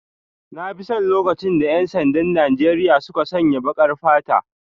Na fi son lokacin da 'yan sandan Najeriya suka sanya baƙar fata.